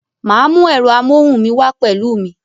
Ma mú ẹ̀rọ amóhùn mi wá pẹ̀lú mi